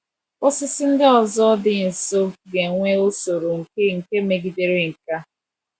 Osisi ndị ọzọ dị nso ga-enwe usoro nke nke megidere nke a.